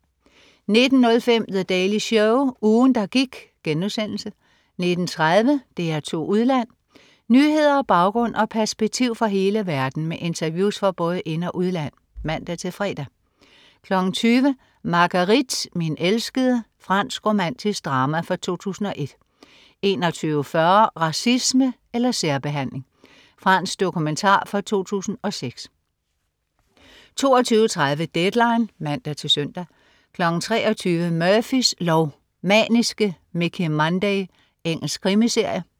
19.05 The Daily Show. Ugen, der gik* 19.30 DR2 Udland. Nyheder, baggrund og perspektiv fra hele verden med interviews fra både ind- og udland (man-fre) 20.00 Marguerite, min elskede. Fransk romantisk drama fra 2001 21.40 Racisme eller særbehandling. Fransk dokumentar fra 2006 22.30 Deadline (man-søn) 23.00 Murphys lov: Maniske Mickey Munday. Engelsk krimiserie